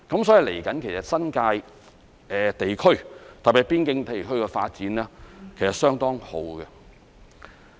所以，接下來，新界地區特別是邊境地區的發展其實是相當好的。